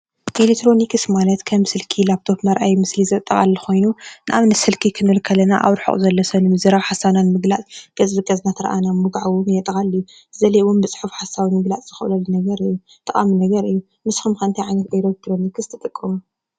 ኤሌክትሮኒክስ ማለት ከም ስልኪ ፣ ላፕቶፕ መርአዪ ምስሊ ዘጠቃልል ኮይኑ ንኣብነት ስልኪ ክንብል ከለና ኣብ ርሑቅ ዘሎ ሰብ ንምዝራብ ሓሳብና ንምግላፅ ገፅ ንገፅ እናተረኣኣና ምውጋዕ እውን የጠቃልል እዩ ገሊኦም እውን ብፅሑፍ ሓሳብ ንምግላፅ ንክእለሉ ነገር እዩ ጠቃሚ ነገር እዩ ንስኩም ከ እንታይ ዓይነት ኤሌክትሮኒክስ ትጥቀሙ?